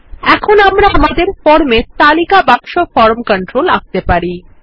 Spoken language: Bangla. এখন আমরা আমাদের ফর্মে তালিকা বাক্স ফরম কন্ট্রোল আঁকতে পারি